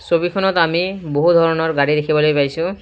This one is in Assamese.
ছবিখনত আমি বহু ধৰণৰ গাড়ী দেখিবলৈ পাইছোঁ।